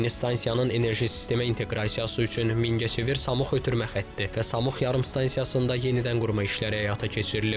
Yeni stansiyanın enerji sistemə inteqrasiyası üçün Mingəçevir Samuq ötürmə xətti və Samuq yarımstansiyasında yenidən qurma işləri həyata keçirilib.